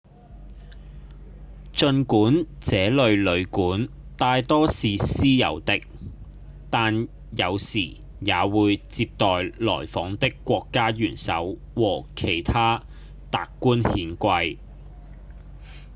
儘管這類旅館大多是私有的但有時也會接待來訪的國家元首和其他達官顯貴